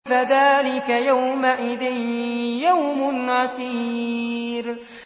فَذَٰلِكَ يَوْمَئِذٍ يَوْمٌ عَسِيرٌ